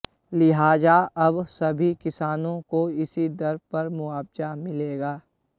लिहाजा अब सभी किसानों को इसी दर पर मुआवजा मिलेगा